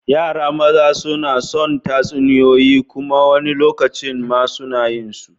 Yaran maza suna son tatsuniyoyi kuma wani lokacin ma suna yin su.